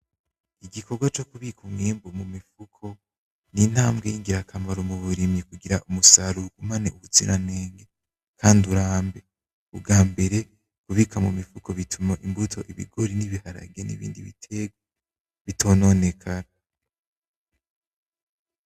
Igikorwa cokubika umwimbu mumifuko nintambwe ngirakamaro muburimyi kugira umusaruro ugumane ubuziranenge, kandi urambe. Ubwa mbere kubika mu mifuko bituma imbuto ibigori n'ibiharage nibindi biterwa bitononekara.